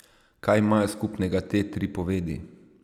Kaj imajo skupnega te tri povedi?